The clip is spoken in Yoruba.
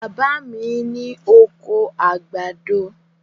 Bàbá mi ní oko àgbàdo.